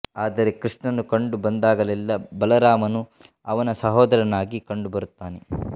ಆದರೆ ಕೃಷ್ಣನು ಕಂಡು ಬಂದಾಗಲೆಲ್ಲ ಬಲರಾಮನು ಅವನ ಸಹೋದರನಾಗಿ ಕಂಡುಬರುತ್ತಾನೆ